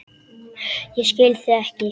Ég skil þig ekki.